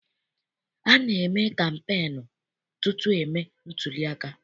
A na-eme kampeenu tutu e mee ntuliaka.